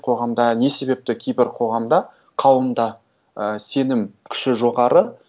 қоғамда не себепті кейбір қоғамда қауымда і сенім күші жоғары